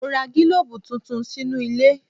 Mo ra gílòbù tuntun sínú ilé.